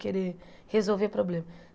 Querer resolver problema.